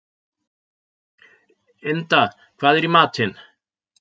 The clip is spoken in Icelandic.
Ynda, hvað er í matinn?